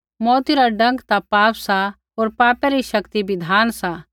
मौऊती रा डंक ता पाप सा होर पापै री शक्ति बिधान सा